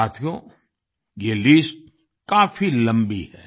साथियो ये लिस्ट काफी लम्बी है